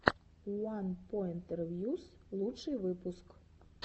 уанпоинтревьюс лучший выпуск